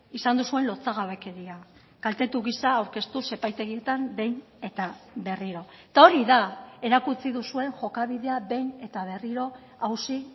izan duzuen lotsagabekeria kaltetu gisa aurkeztuz epaitegietan behin eta berriro eta hori da erakutsi duzuen jokabidea behin eta berriro auzi